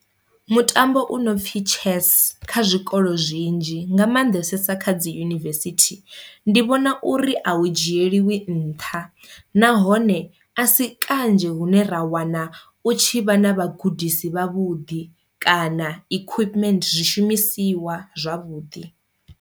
Mutambo u no pfi chess kha zwikolo zwinzhi nga maanḓesesa kha dzi yunivesithi ndi vhona uri a u dzhieliwi nṱha, nahone a si kanzhi hune ra wana u tshi vha na vhagudisi vhavhuḓi kana equipment zwishumisiwa zwavhuḓi.